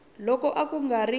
loko a ku nga ri